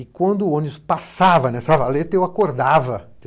E quando o ônibus passava nessa valeta, eu acordava.